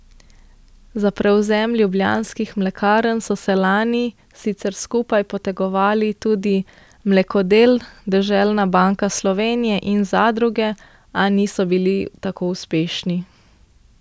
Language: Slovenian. Za prevzem Ljubljanskih mlekarn so se lani sicer skupaj potegovali tudi Mlekodel, Deželna banka Slovenije in zadruge, a niso bili tako uspešni.